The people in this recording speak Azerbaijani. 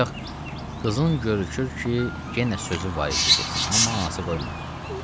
Bayaq qızının görükür ki, yenə sözü var idi desin, amma anası qoymadı.